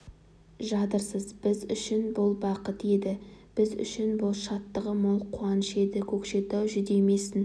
жатырсыз біз үшін бұл бақыт еді біз үшін бұл шаттығы мол қуаныш еді көкшетау жүдемесін